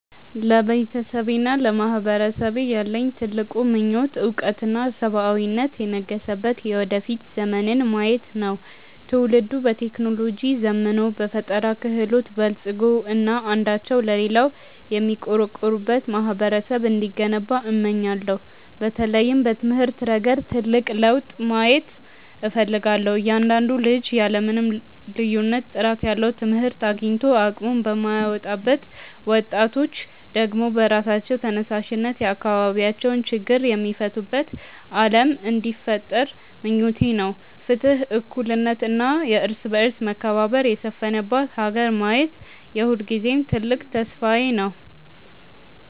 ለቤተሰቤና ለማህበረሰቤ ያለኝ ትልቁ ምኞት እውቀትና ሰብአዊነት የነገሰበት የወደፊት ዘመንን ማየት ነው። ትውልዱ በቴክኖሎጂ ዘምኖ፣ በፈጠራ ክህሎት በልፅጎ እና አንዳቸው ለሌላው የሚቆረቆሩበት ማህበረሰብ እንዲገነባ እመኛለሁ። በተለይም በትምህርት ረገድ ትልቅ ለውጥ ማየት እፈልጋለሁ፤ እያንዳንዱ ልጅ ያለ ምንም ልዩነት ጥራት ያለው ትምህርት አግኝቶ አቅሙን የሚያወጣበት፣ ወጣቶች ደግሞ በራሳቸው ተነሳሽነት የአካባቢያቸውን ችግር የሚፈቱበት ዓለም እንዲፈጠር ምኞቴ ነው። ፍትህ፣ እኩልነት እና የእርስ በርስ መከባበር የሰፈነባት ሀገር ማየት የሁልጊዜም ትልቅ ተስፋዬ ነው።